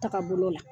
Taga bolo la